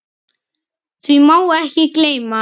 Því má ekki gleyma.